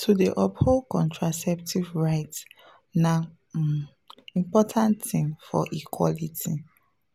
to dey uphold contraceptive rights na um important thing for equality